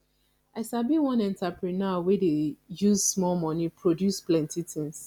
i sabi one entreprenuer wey dey use small moni produce plenty tins